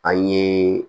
An ye